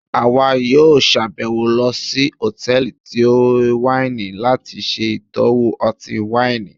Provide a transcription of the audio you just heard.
àwá yóò ṣabẹwo lọ sí hòtẹ́ẹ̀lì tí waini lati ṣe itọwo ọti-waini.